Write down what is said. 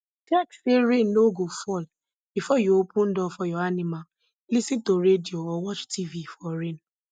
check say rain no go fall before you open door for your animal lis ten to radio or watch tv for rain